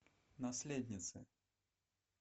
наследницы